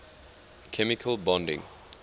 chemical bonding